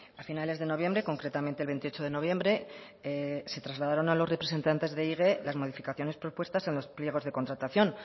a finales de noviembre concretamente el veintiocho de noviembre se trasladaron a los representantes de ehige las modificaciones propuestas en los pliegos de contratación